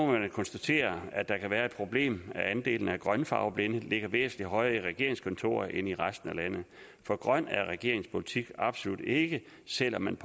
man konstatere at der kan være det problem at antallet af grønfarveblinde ligger væsentlig højere i regeringskontorerne end i resten af landet for grøn er regeringens politik absolut ikke selv om man